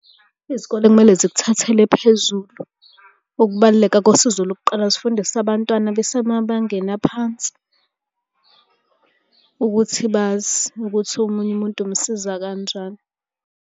Izikole kumele zikuthathele phezulu ukubaluleka kosizo lokuqala zifundise abantwana besemabangeni aphansi ukuthi bazi ukuthi omunye umuntu umsiza kanjani.